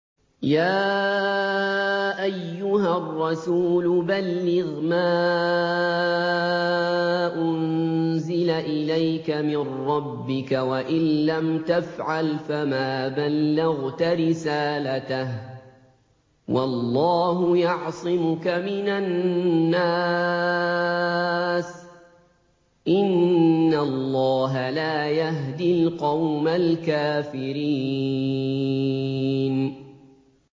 ۞ يَا أَيُّهَا الرَّسُولُ بَلِّغْ مَا أُنزِلَ إِلَيْكَ مِن رَّبِّكَ ۖ وَإِن لَّمْ تَفْعَلْ فَمَا بَلَّغْتَ رِسَالَتَهُ ۚ وَاللَّهُ يَعْصِمُكَ مِنَ النَّاسِ ۗ إِنَّ اللَّهَ لَا يَهْدِي الْقَوْمَ الْكَافِرِينَ